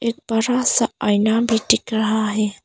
एक बड़ा सा आईना भी दिख रहा है।